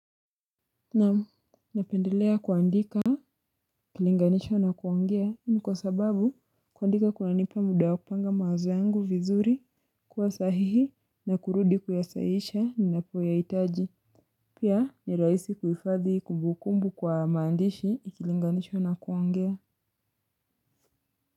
Naam, napendelea kuandika, kulinganisha na kuongea. Kwa sababu, kuandika kuna nipa muda wa kupanga mawazo yangu vizuri, kwa sahihi, na kurudi kuyasaisha ninapo yaitaji. Pia, ni rahisi kuifadhi kumbukumbu kwa maandishi, ikilinganishwa inakwo ongea.